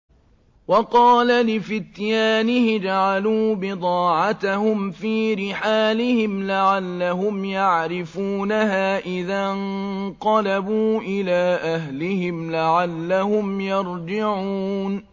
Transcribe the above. وَقَالَ لِفِتْيَانِهِ اجْعَلُوا بِضَاعَتَهُمْ فِي رِحَالِهِمْ لَعَلَّهُمْ يَعْرِفُونَهَا إِذَا انقَلَبُوا إِلَىٰ أَهْلِهِمْ لَعَلَّهُمْ يَرْجِعُونَ